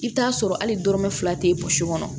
I bɛ t'a sɔrɔ hali dɔrɔmɛ fila tɛ kɔnɔ